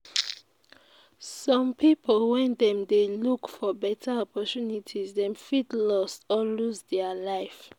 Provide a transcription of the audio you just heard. some pipo when dem dey look for better opportunities dem fit lost or loose their life